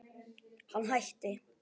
Hann hætti.